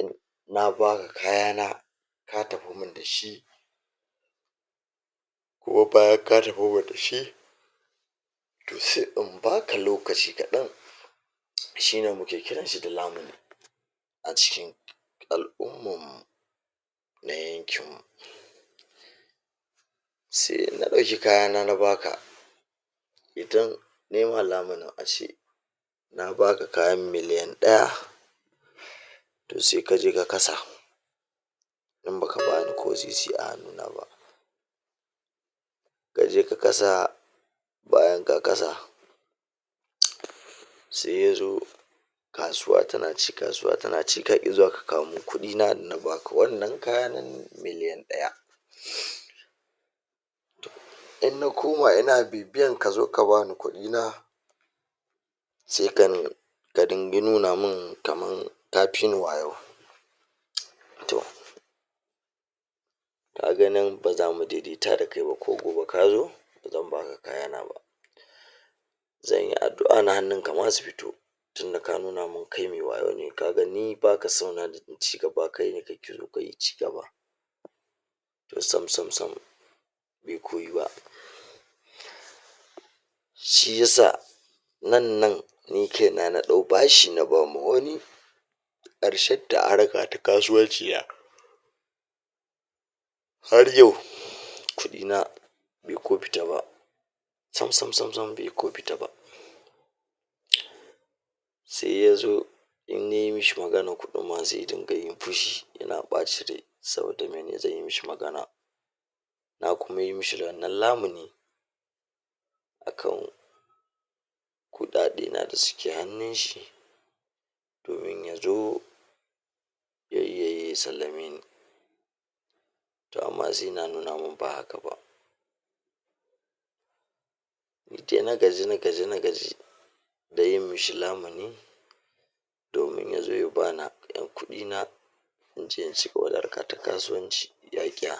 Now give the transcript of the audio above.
inna baka kayana ka tafimin da shi kuma bayan ka tafi da shi to sai in baka lokaci kaɗan shi ne muke kirarsa da lamini a cikin al'ummu na yanki sai na ɗauki kayana na baka idan naima lamunin a ci na baka kayan miliyan ɗaya to sai ka je ka kasa in ba ka bani ko sisi a hannu na ba ka je ka kasa bayan ka kasa tss sai ya zo kasuwa tana ci kasuwa tana ci ka ƙi zuwa ka kawomin kuɗi na baka wannan kaya nan miliyan ɗaya hmm in na koma ina bibiyar ka zo ka bani kuɗi na sai ganni ka dingi nuna min kamar ka fi ni wayo mts to ka ga nan ba za mu daidaita da kai ba ko gobe ka zo idan ban ga kaya na ba zan yi addu'a na hannun ka ma su fito tunda ka nuna min kai mai wayo ne ka ga ni ba ka sona da ci gaba kai da kake ƙoƙarin cigaba ni sam-sam-sam iko yi wa shi ya sa nan nan ni kaina na ɗau bashi na bawa wani ƙarshenta a harka ta kasuwanci ya har yau kuɗi na bai ko fita ba sam-san-sam baiko fita ba ɗiɗ sai ya zo innai masa maganar kuɗin ma sai ya dunga yin fushi yana ɓacin rai saboda mai zan yi masa magana na kuma yi masa lallen lamini akan kuɗaɗe na da suke hannun shi domin yanzu zai iya yi ya sallamaini to amma sai yana nuna min ba haka ba sai na gaji na gaji na gaji da yi masa lamini domin ya zo ya bani ƴan kuɗi na an ce a cigaba da harka ta kasuwanci ya ƙiya